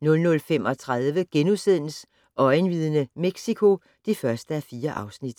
00:35: Øjenvidne - Mexico (1:4)*